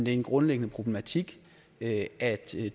er en grundlæggende problematik at at